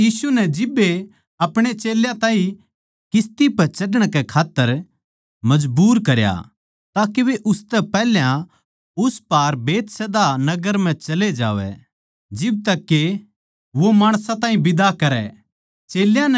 फेर यीशु जिब्बे आपणे चेल्यां ताहीं किस्ती पै चढ़ण कै खात्तर मजबूर करया के वे उसतै पैहल्या उस पार बैतसैदा नगर म्ह चले जावैं जिब ताहीं के वो माणसां ताहीं बिदा करै